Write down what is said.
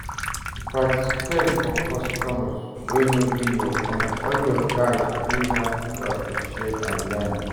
To participate for customs wey no be your own all you gats do na to appreciate and learn